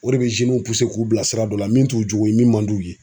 O de be zenu puse k'u bila sira dɔ la min t'u jogo ye min man d'u ye